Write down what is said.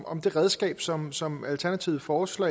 om det redskab som som alternativet foreslår